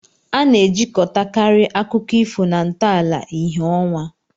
A na-ejikọtakarị akụkọ ifo na ntọala ìhè ọnwa.